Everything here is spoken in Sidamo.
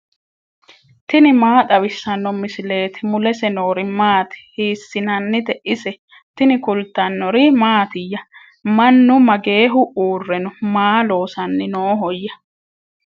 tini maa xawissanno misileeti ? mulese noori maati ? hiissinannite ise ? tini kultannori mattiya? Mannu mageehu uure noo? Maa loosanni noohoya?